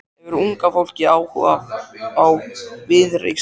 Hefur unga fólkið áhuga á Viðreisn?